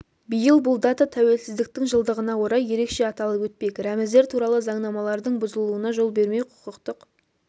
биыл бұл дата тәуелсіздіктің жылдығына орай ерекше аталып өтпек рәміздер туралы заңнамалардың бұзылуына жол бермеу құқықтық